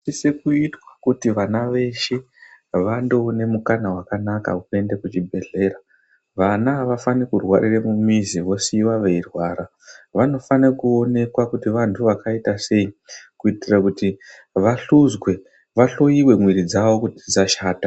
Chinosisa kuitwa vana veshe vandoona mukana wekuenda kuchibhedhleya vana havafaniri kurwarira mumizi vosiiwa veirwara vanofanira kuonekwa kuti vantu vakaita sei kuitira kuti vahluzwe vahloiwe muviri dzavo kuti dzichashata .